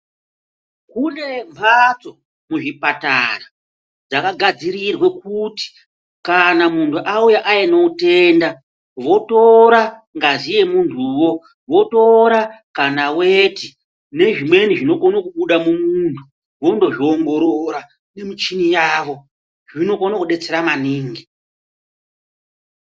Kune mhatso muzvipatara dzakadadzirirwe kuti kana muntu auya aine utenda. Votora ngazi yemuntuvo votora kana veti nezvimweni zvinhu zvinokona kubuda mumuntu vondozviongorora nemichini yavo zvinokona kubetsera maningi.